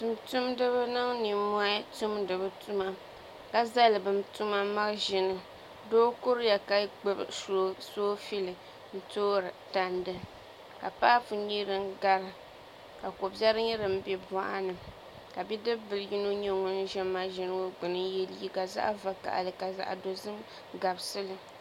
Tumtumdibi niŋ nimmohi tumdi bi tuma ka zali bi tuma maʒini doo kuriya ka gbubi soobuli n toori tandi ka paapu nyɛ din gari ka ko biɛri bɛ boɣini ka bidib bili yino nyɛ ŋun ʒɛ maʒini ŋo gbuni n yɛ liiga zaɣ vakaɣili ka zaɣ dozim gabisili